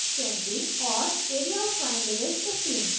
और area of triangle is 15